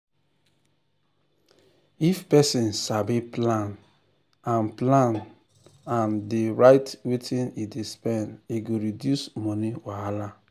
if person sabi plan and plan and um dey write wetin e dey spend e go reduce money wahala.